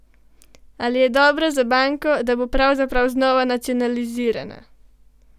Ali je dobro za banko, da bo pravzaprav znova nacionalizirana?